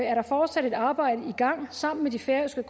er der fortsat et arbejde i gang sammen med de færøske